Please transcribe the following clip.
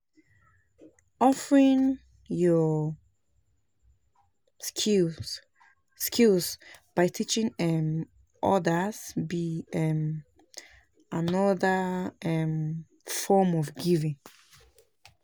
Offering yur skills skills by teaching um odas be um anoda um form of giving.